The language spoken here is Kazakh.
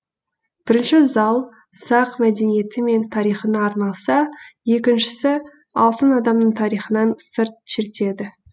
бірінші зал сақ мәдениеті мен тарихына арналса екіншісі алтын адамның тарихынан сыр шертеді